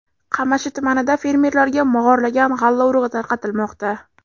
Qamashi tumanida fermerlarga mog‘orlagan g‘alla urug‘i tarqatilmoqda.